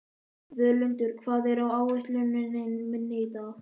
Völundur, hvað er á áætluninni minni í dag?